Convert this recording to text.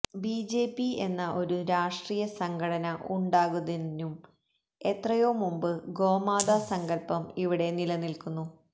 BJP എന്ന ഒരു രാഷ്ട്രീയ സംഘടന ഉണ്ടാകുന്നതിനും എത്രയോ മുമ്പ് ഗോമാതാ സങ്കല്പം ഇവിടെ നിലനില്ക്കുന്നു